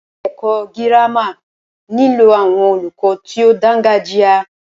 Ilé ẹ̀kọ́ gírámà nílò àwọn olùkọ tí o dáńgájia.